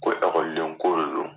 Ko ɔkɔlidenko de don